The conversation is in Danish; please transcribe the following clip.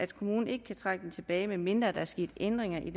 kommunen ikke trække den tilbage medmindre der er sket ændringer i